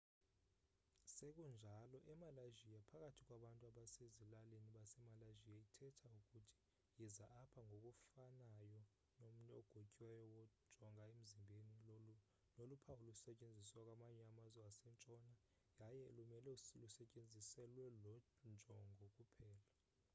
sekunjalo emalaysia phakathi kwabantu basezilalini basemalaysia ithetha ukuthi yiza apha ngokufanayo nomnwe ogotyiweyo wajonga emzimbeni noluphawu olusetyenziswa kwamanye amazwe asentshona yaye lumele lusetyenziselwe loo njongo kuphela